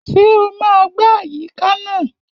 Ṣé o máa gbá àyíká náà?